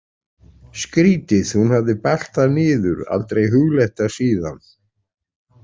Skrítið, hún hafði bælt það niður, aldrei hugleitt það síðan.